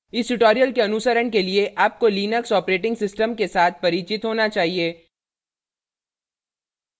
इस tutorial के अनुसरण के लिए आपको लिनक्स operating system के साथ परिचित होना चाहिए